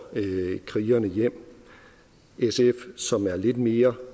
krigerne hjem sf som er lidt mere